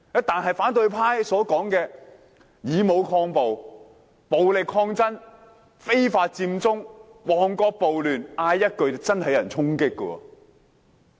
但是，反對派所說的以武抗暴，暴力抗爭，非法佔中，旺角暴亂，只要喊一句便真的有人會衝擊。